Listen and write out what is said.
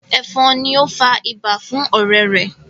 efon ní o fà ibà fún ọrẹ rè